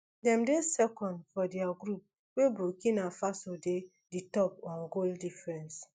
dem dey second for dia group wey burkina faso dey di top on goal difference